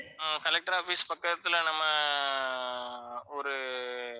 ஆஹ் collector office பக்கத்துல நம்ம ஒரு